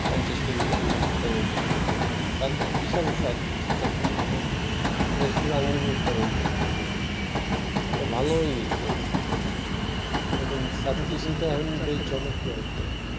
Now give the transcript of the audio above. পঞ্চাশ কেজি আঙ্গুর উৎপাদন করতেছে ছাদ তো বিশাল ছাদ তারপর এটা শুধু আঙ্গুর উৎপাদন করতেছে এটা ভালোই ইনকাম এরকম ছাদ কৃষিতে এখন চমকপ্রদক ।